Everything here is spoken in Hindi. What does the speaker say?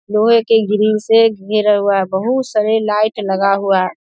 लोहे के ग्रिल से घेरा हुआ है बहुत सारे लाईट लगा हुआ है ।